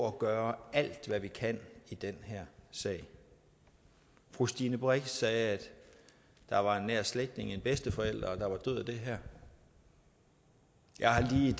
at gøre alt hvad vi kan i den her sag fru stine brix sagde at der var en nær slægtning en bedsteforælder der var død af det her jeg har lige